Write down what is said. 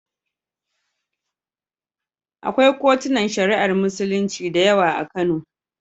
Akwai kotunan Shari'ar Musulunci da yawa a Kano.